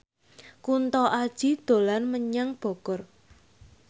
Kunto Aji dolan menyang Bogor